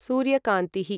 सूर्यकान्तिः